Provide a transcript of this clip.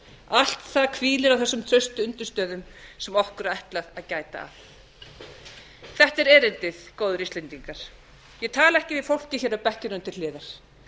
allt það hvílir á þessum traustu undirstöðum sem okkur er ætlað að gæta að þetta er erindið góðir íslendingar ég tala ekki við fólkið hér á bekkjunum til hliðar